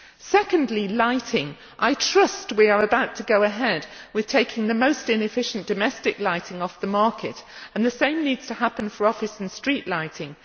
Secondly, with regard to lighting, I trust we are about to go ahead with taking the most inefficient domestic lighting off the market, and the same needs to happen for office and street lighting.